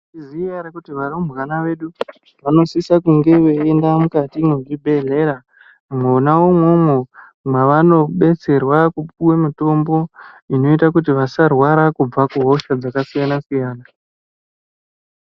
Tinoźiyaerè kuti varuɓwana vedu vanosisa kunga veienda mukati mwezvibhehlera mwona imwomwo mwaanobetserwa kupùwa mutombo inoita kuti vasarwara kubva kuhosha dzakasiyana siyana .